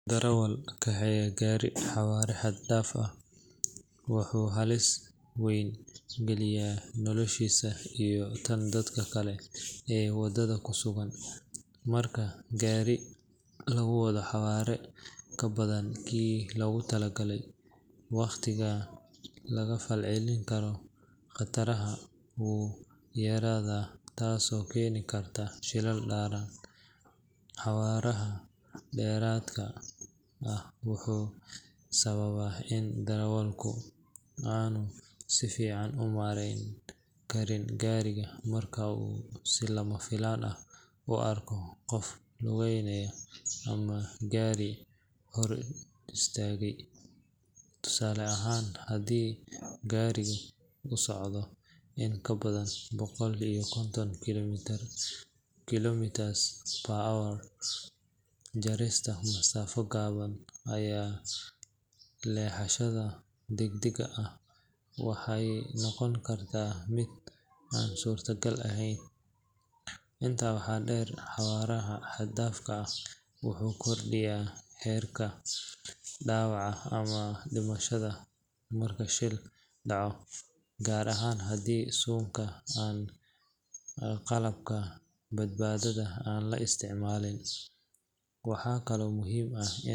Darawal kaxeeya gaari xawaare xad-dhaaf ah wuxuu halis weyn gelinayaa noloshiisa iyo tan dadka kale ee wadada ku sugan. Marka gaari lagu wado xawaare ka badan kii lagu talagalay, waqtiga laga falcelin karo khataraha wuu yaraadaa taasoo keeni karta shilal daran. Xawaaraha dheeraadka ah wuxuu sababaa in darawalku aanu si fiican u maareyn karin gaariga marka uu si lama filaan ah u arko qof lugeynaya ama gaari hor istaagaya. Tusaale ahaan, haddii gaarigu uu socdo in ka badan boqol iyo konton kilometers per hour, jarista masaafo gaaban ama leexashada degdega ah waxay noqon kartaa mid aan suurtagal ahayn. Intaa waxaa dheer, xawaare xad dhaaf ah wuxuu kordhiyaa heerka dhaawaca ama dhimashada marka shil dhaco, gaar ahaan haddii suunka ama qalabka badbaadada aan la isticmaalin. Waxaa kaloo muhiim ah in.